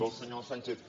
del senyor sánchez